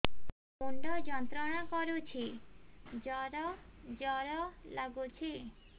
ମୁଣ୍ଡ ଯନ୍ତ୍ରଣା କରୁଛି ଜର ଜର ଲାଗୁଛି